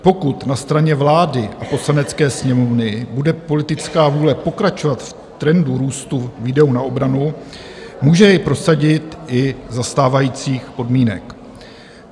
Pokud na straně vlády a Poslanecké sněmovny bude politická vůle pokračovat v trendu růstu výdajů na obranu, může jej prosadit i za stávajících podmínek.